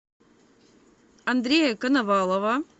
андрея коновалова